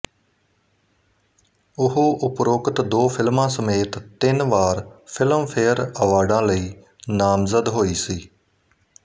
ਉਹ ਉਪਰੋਕਤ ਦੋ ਫਿਲਮਾਂ ਸਮੇਤ ਤਿੰਨ ਵਾਰ ਫਿਲਮਫੇਅਰ ਅਵਾਰਡਾਂ ਲਈ ਨਾਮਜ਼ਦ ਹੋਈ ਸੀ